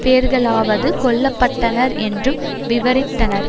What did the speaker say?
பேர்களாவது கொல்ல பட்டனர் என்றும் விவரித்தனர்